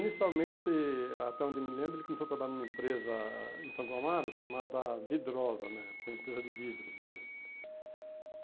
Inicialmente, até onde me lembro, ele começou a trabalhar em uma empresa em Santo Amaro chamada Vidrosa né, uma empresa de vidros né.